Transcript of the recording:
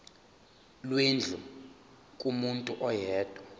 lwendlu kumuntu oyedwa